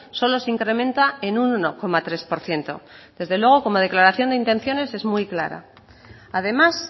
solo se incrementa en un uno coma tres por ciento desde luego como declaración de intenciones es muy clara además